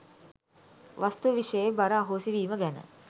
වස්තු විෂයේ බර අහෝසි වීම ගැන